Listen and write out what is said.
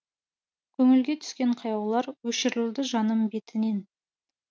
көңілге түскен қаяулар өшірілді жаным бетінен